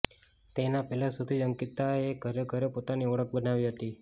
તેના પહેલા શોથી જ અંકિતાએ ઘરે ઘરે પોતાની ઓળખ બનાવી હતી